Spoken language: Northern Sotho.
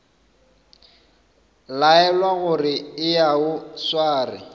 laelwa gore eya o sware